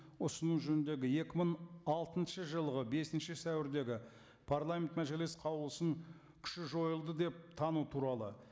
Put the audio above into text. ұсыну жөніндегі екі мың алтыншы жылғы бесінші сәуірдегі парламент мәжіліс қаулысының күші жойылды деп тану туралы